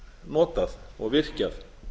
notað og virkjað